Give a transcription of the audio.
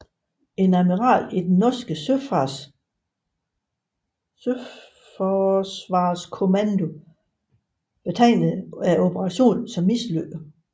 En admiral i den norske søforsvarskommando betegnede operationen som mislykket